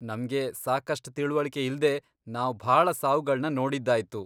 ನಮ್ಗೆ ಸಾಕಷ್ಟ್ ತಿಳ್ವಳಿಕೆ ಇಲ್ದೇ ನಾವ್ ಭಾಳ ಸಾವ್ಗಳ್ನ ನೋಡಿದ್ದಾಯ್ತು.